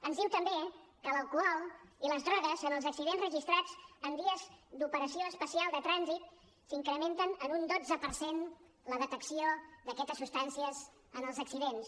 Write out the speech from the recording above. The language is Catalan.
ens diu també que l’alcohol i les drogues en els accidents registrats en dies d’operació especial de trànsit s’incrementen en un dotze per cent la detecció d’aquestes substàncies en els accidents